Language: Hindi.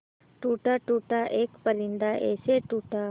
टूटा टूटा एक परिंदा ऐसे टूटा